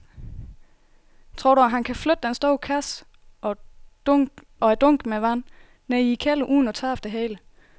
Tror du, at han kan flytte den store kasse og dunkene med vand ned i kælderen uden at tabe det hele?